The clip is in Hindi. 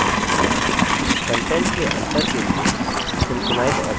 contents के अंतर के लिए synchronize option चुनें